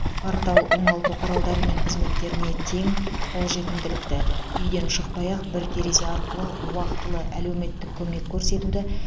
портал оңалту құралдары мен қызметтеріне тең қолжетімділікті үйден шықпай ақ бір терезе арқылы уақытылы әлеуметтік көмек көрсетуді